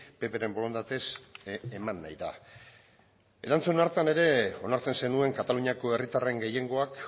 ppren borondatez eman nahi da erantzun hartan ere onartzen zenuen kataluniako herritarren gehiengoak